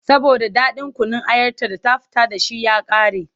Saboda ɗaɗin kunun ayarta da an fita da shi ya ƙare.